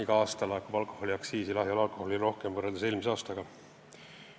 Iga aasta laekub rohkem lahja alkoholi aktsiisi võrreldes eelmise aastaga.